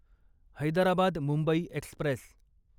Hyderabad Mumbai Express